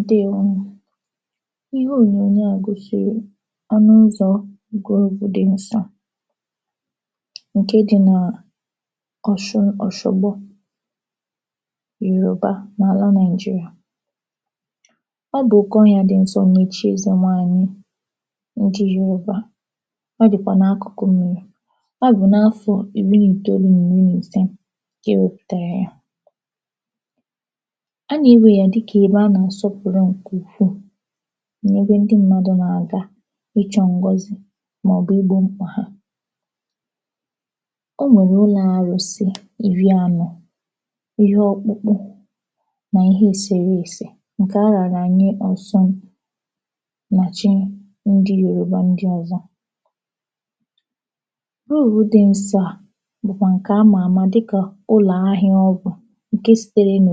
ǹdewo nù ihe ònyònyo a gòsìrì onụ uzọ̄ rigoro ugwu dị̄ nsọ ǹke dị nà ọ̀shun ọ̀sọgbo Yòrùba n’àla Naịjịrịà ọ bụ̀ kà oyā dị̄ nsọ nà èchi ẹzẹ̀ nwanyị ndị Yòrùba ọdị̀kwà n’akụ̀kụ mmiri ọ bụ̀ n’afọ̄ ị̀rị n’ìtoolu n’ị̀rị n’ìse kà e wepùtàrà ya a nà e wee ya dịkà ebe a nà àsọpụ̀rụ ǹke ukwù n’ebe ndị mmadù nà àga ịchọ̄ ngọzị mà ọ̀ bụ igbō mkpà ha o nwèrè ụlọ̄ arụ̄sị ị̀rị anọ ihe ọkpụkpụ nà ihe èsèresè ǹkẹ̀ a rànà nye ọsun mà chị ndị Yòrùba ndị ozọ orùru dị nsọ à bụ̀kwà ǹkè a mà àma dịkà ụlọ̀ ahịa ọ bụ̀ ǹke sitere nà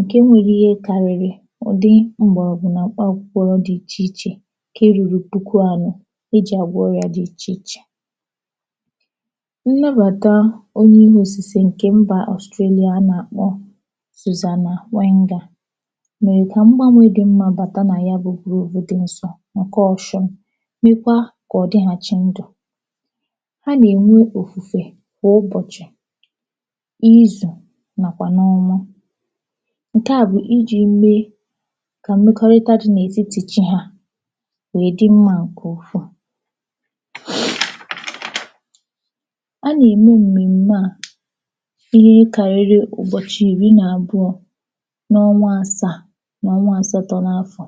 ǹke nwere ihe karịrị ụ̀dị m̀gbọ̀rọ̀gwụ̀ nà m̀kpa akwụkwọ dị ichè ichè nke ruru puku anọ e jị̀ àgwọ ọrịā dị ichè ichè nnabàta onye ọrụ̄ osisi ǹkè mbà Ọ̀strelị̀à a nà àkpọ Sùzànà Wẹngà mẹ̀rẹ̀ kà mgbanwe dị mmā bàta nà ya bụ gròvu dị nsọ ǹkẹ Ọshụn mekwa kà ọ dịghàchị ndụ̀ ha nà ènwe òfùfè kwà ụbọ̀chị̀ ịzu nàkwà n’ọnwa ǹkẹ̀ a bụ̀ ịjị̄ mee kà mmekọrịta dị̄ n’ètiti chị hā wèè dị mmā ǹkè ukwù a nà ẹ̀mẹ m̀mẹ̀m̀mẹ à n’ihe karịrị ụ̀bọ̀chị ị̀rị̇ n’àbụọ n’ọnwa asàà mà ọnwa asatọ n’afọ̀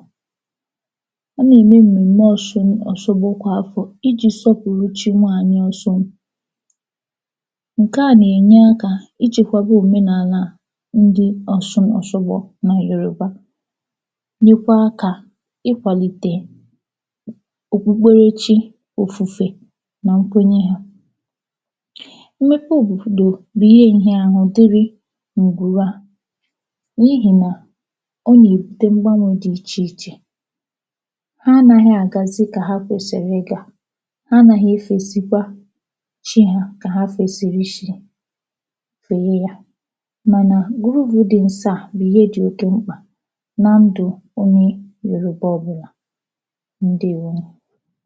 a nà ème m̀mẹ̀m̀mẹ Ọshụ̀n Ọ̀shogbo kwà afọ̀ ịjị̄ sọpụ̀rụ chị̇ nwanyị Ọshụn ǹkè à nà ènye akā ichekwaba òmenàlà ndị Ọshụ̀n Ọ̀shogbo nà Yòròba mekwa kà ị kwàlìtè òkpùkperechị òfùfè nà nkwenye ha mmekwo bụ̀kwụ̀dò bụ̀ ihe ǹhịa ahụ dịrị ǹgwùrù à n’ihì nà ọ yà èbute mgbanwē dị ichè ichè ha anaghị àgàzi dịkà ha kwèsìrì ị gā ha anaghị efèzikwa chị ha kà ha fesirichi fee ya mànà gruvu dị nsọ à bụ̀ ihe dị oke mkpà na ndụ̄ onye Yòròba ọbụlà ǹdèwo nù